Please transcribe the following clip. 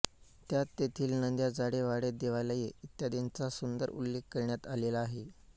त्यात तेथील नद्याझाडे वाडे देवालये इत्यादींचा सुंदर उल्लेख करण्यात आलेला आहे